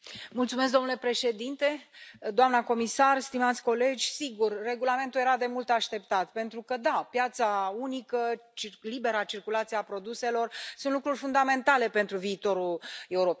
Domnule președinte, doamnă comisar, stimați colegi, sigur, regulamentul era de mult așteptat, pentru că, da, piața unică și libera circulație a produselor sunt lucruri fundamentale pentru viitorul Europei.